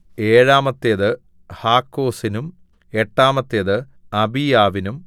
ഏഴാമത്തേത് ഹാക്കോസിനും എട്ടാമത്തേത് അബീയാവിനും